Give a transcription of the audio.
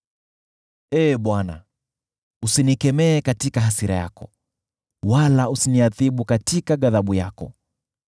Ee Bwana , usinikemee katika hasira yako, wala usiniadhibu katika ghadhabu yako.